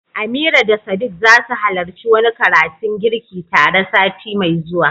Amira da Sadiq zasu halarci wani karatun girki tare sati mai zuwa.